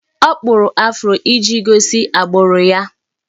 Ọ kpụrụ afro iji gosi agbụrụ ya